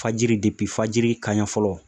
Fajiri fajiri kaɲɛ fɔlɔ